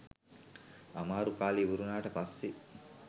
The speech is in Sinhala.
අමාරු කාලේ ඉවරවුණාට පස්සේ